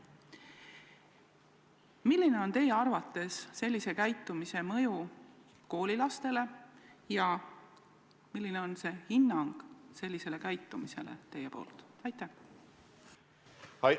Milline on teie arvates sellise käitumise mõju koolilastele ja milline on teie hinnang sellisele käitumisele?